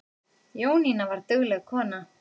Jónína var dugleg kona.